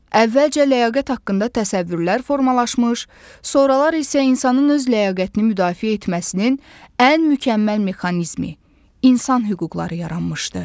Əvvəlcə ləyaqət haqqında təsəvvürlər formalaşmış, sonralar isə insanın öz ləyaqətini müdafiə etməsinin ən mükəmməl mexanizmi, insan hüquqları yaranmışdı.